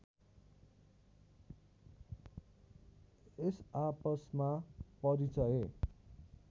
यस आपसमा परिचय